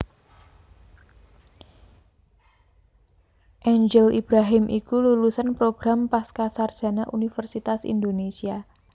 Angel Ibrahim iku lulusan program pascasarjana Universitas Indonésia